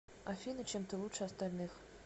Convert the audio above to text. афина чем ты лучше остальных